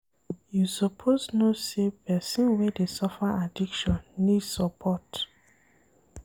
You suppose know sey pesin wey dey suffer addiction need support.